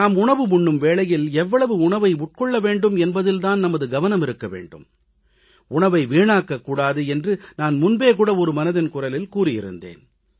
நாம் உணவு உண்ணும் வேளையில் எவ்வளவு உணவு உட்கொள்ள வேண்டும் என்பதில் தான் நமது கவனம் இருக்க வேண்டும் உணவை வீணாக்கக் கூடாது என்று நான் முன்பு மனதின் குரலில் ஏற்கனவே கூறியிருந்தேன்